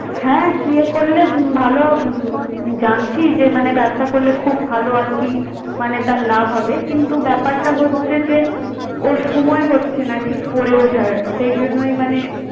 হ্যাঁ CA করলে ভাল উম জানছি যে মানে ব্যবসা করলে খুব ভাল আর কি মানে তার লাভ হবে কিন্তু ব্যপারটা হচ্ছে যে ওর সময় হচ্ছে না ঠিক পড়ে ওঠার। সেই জন্যই মানে